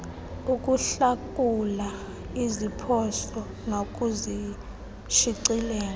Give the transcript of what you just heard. ukuhlakula iziphoso nokushicilela